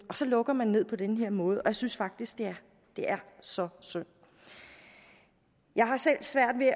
og så lukker man ned på den her måde og jeg synes faktisk det er så synd jeg har selv svært ved